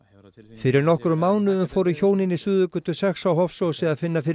fyrir nokkrum mánuðum fóru hjónin í Suðurgötu sex á Hofsósi að finna fyrir